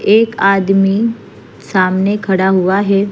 एक आदमी सामने खड़ा हुआ है।